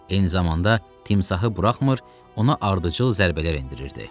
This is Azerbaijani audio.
Eyni zamanda timsahı buraxmır, ona ardıcıl zərbələr endirirdi.